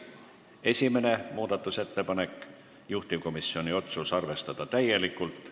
Esimene muudatusettepanek, juhtivkomisjoni otsus: arvestada täielikult.